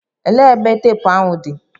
Elee ebe teepụ ahụ nọ?